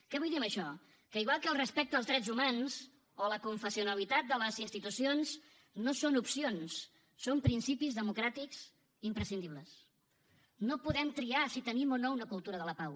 què vull dir amb això que igual que el respecte als drets humans o la aconfessionalitat de les institucions no són opcions són principis democràtics imprescindibles no podem triar si tenim o no una cultura de la pau